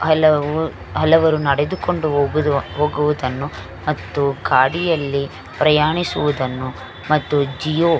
ಹಲವು ಹಲವರು ನೆಡೆದುಕೊಂಡು ಹೋಗುವುದ ಹೋಗುವುದನ್ನು ಮತ್ತು ಗಾಡಿಯಲ್ಲಿ ಪ್ರಯಾಣಿಸುದನ್ನು ಮತ್ತು ಜಿಯೋ --